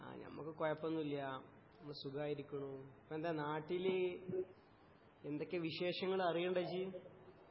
ആ ഞമ്മക്ക് കോഴപ്പോന്നുമില്ല അമ്മള് സുഖായിരിക്കുണു ഇപ്പോ എന്താ നാട്ടില് എന്തൊക്കെയാ വിശേഷങ്ങള് അറിയുണ്ടോ ഇജ്ജ്